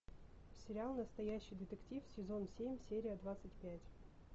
сериал настоящий детектив сезон семь серия двадцать пять